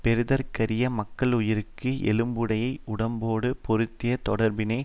பெறுதற்கரிய மக்களுயிர்க்கு எலும்புடையை உடம்போடு பொருந்திய தொடர்பினை